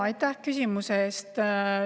Aitäh küsimuse eest!